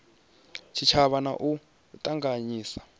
tshitshavha na u a ṱanganyisa